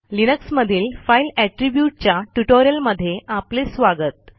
Linux मधील file Attributeच्या ट्युटोरियलमध्ये आपले स्वागत